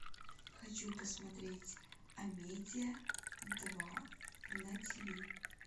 хочу посмотреть амедия два на тв